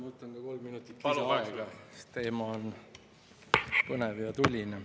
Ma võtan ka kolm minutit lisaaega, sest teema on põnev ja tuline.